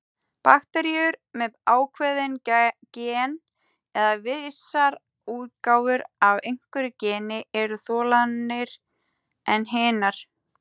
Bakteríur með ákveðin gen, eða vissar útgáfur af einhverju geni, eru þolnari en hinar.